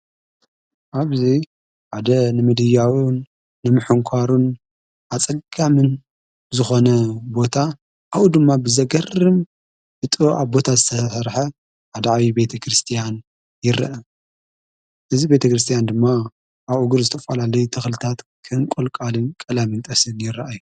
ኣብዙይ ኣደ ንምድያውን ንምሕንኳሩን ኣጸጋምን ዝኾነ ቦታ ኣዉ ድማ ብዘገርም ይጥ ኣብ ቦታ ዝዝተርሐ ኣደዓዊ ቤተ ክርስቲያን ይርአ እዝ ቤተ ክርስቲያን ድማ ኣብኡግር ዝተፍላልይ ተኽልታት ክንቈልቃልን ቀላምእንጠስን ይረአይ።